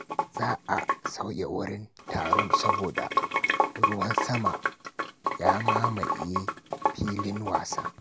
Za a sauya wurin taron saboda ruwan sama ya mamaye filin wasa.